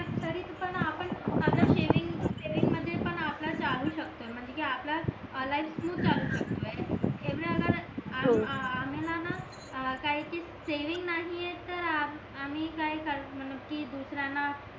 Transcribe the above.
saving मध्ये पण आपला चालू शकतो म्हणजे कि आपला लाईफ स्मूथ चालू शकतो एव्हड आम्हीलाना काय ते सेविंग नाहीए तर आम्ही काय करणार कि दुसर्यांना